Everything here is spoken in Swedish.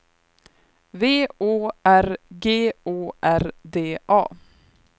V Å R G Å R D A